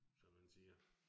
Som man siger